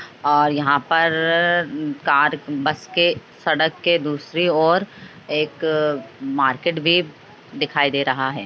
और यहाँ पर कार बस के सड़क के दूसरी ओर एक मार्केट भी दिखाई दे रहा है ।